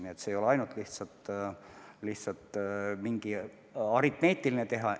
Nii et see ei ole ainult lihtsalt mingi aritmeetiline tehe.